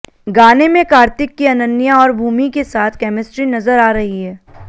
गाने में कार्तिक की अनन्या और भूमि के साथ केमिस्ट्री नजर आ रही है